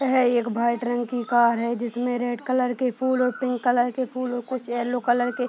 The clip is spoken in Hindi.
है एक वाइट रंग की कार है जिसमें रेड कलर के फूल और पिंक कलर के फूल और कुछ येलो कलर के --